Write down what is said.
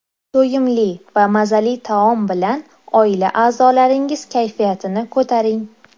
To‘yimli va mazali taom bilan oila a’zolaringiz kayfiyatini ko‘taring.